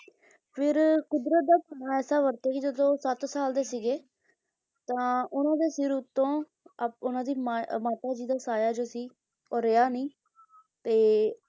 ਫਿਰ ਕੁਦਰਤ ਦਾ ਸਹਾਇਤਾ ਵਰਤ ਕੇ ਜਦੋਂ ਸੱਤ ਸਾਲ ਦੇ ਸੀਗੇ ਤਾਂ ਉਹਨਾਂ ਦੇ ਸਿਰ ਉੱਤੋਂ ਆਪ ਉਹਨਾਂ ਦੀ ਮਾਂ ਮਾਤਾ ਜੀ ਦੀ ਸਾਇਆ ਜੋ ਸੀ ਉਹ ਰਿਹਾ ਨਹੀਂ ਤੇ,